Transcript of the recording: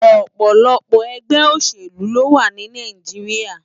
Òpòlòpò ègbè óṣélú lówá ni Náijiriá